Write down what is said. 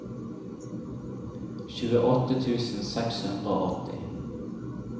tjueåtte tusen seks hundre og åtti